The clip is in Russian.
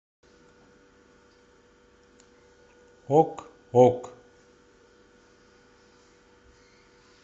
ок ок